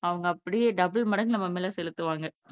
அவங்க அப்படியே டபுள் மடங்கு செலுத்துவாங்க